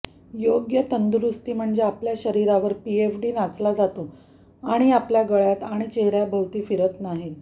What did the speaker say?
योग्य तंदुरुस्ती म्हणजे आपल्या शरीरावर पीएफडी नाचला जातो आणि आपल्या गळ्यात आणि चेहर्याभोवती फिरत नाही